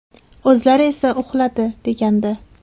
O‘zlari esa uxladi”, degandi .